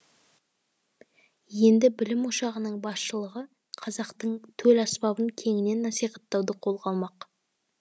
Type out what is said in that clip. енді білім ошағының басшылығы қазақтың төл аспабын кеңінен насихаттауды қолға алмақ